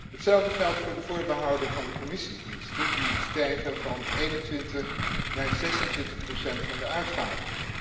Hetzelfde geldt voor de voorbehouden van de Commissiediensten, die stijgen van 21 naar 26 procent van de uitgaven.